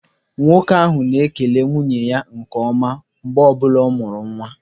Nwoke ahụ na-ekele nwunye ya nke ọma mgbe ọbụla ọ mụrụ nwa.